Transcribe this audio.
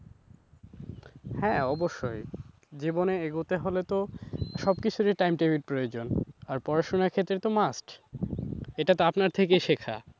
হ্যাঁ অবশ্যই। জীবনে এগোতে হলে তো সবকিছুরই time table প্রয়োজন আর পড়াশোনার ক্ষেত্রে তো must এটা তো আপনার থেকেই শেখা।